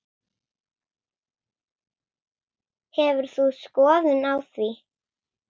Hefur þú skoðun á því?